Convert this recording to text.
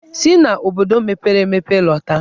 Si n'obodo mepere emepe lọta!